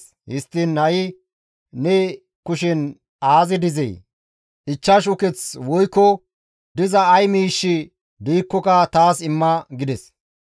Histtiin ha7i ne kushen aazi dizee? Ichchashu uketh woykko diza ay miishshi diikkoka taas imma?» gides.